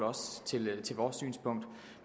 til vores synspunkt